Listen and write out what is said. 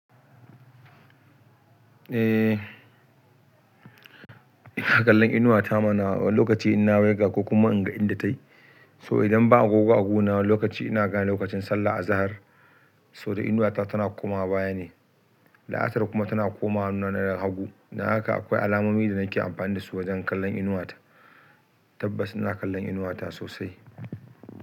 Eh, ina kallon inuwata ma na lokaci ina waiga ko kuma in ga inda ta yi. So idan ba agogo a gona wani lokaci ina gane lokacin sallah a zahir. So da inuwata tana komawa baya ne, la'asar kuma tana komawa hannu ne hagu. Don haka akwai alamomi da nake amfani dasu wajan kallon inuwata. Tabbas ina kallon inuwata sosai.